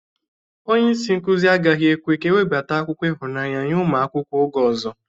Onye isi nkuzi agaghị ekwe ka ewebata akụkọ ịhụnanya nye ụmụ akwụkwọ oge ọzọ